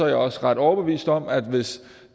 jeg også ret overbevist om at hvis